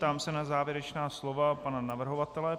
Ptám se na závěrečná slova pana navrhovatele.